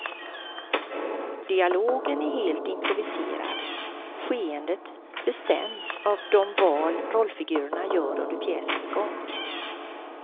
Dialogen är helt improviserad, skeendet bestäms av de val rollfigurerna gör under pjäsens gång.